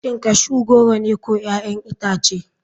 Shin cashew goro ne ko 'ya'yan itace.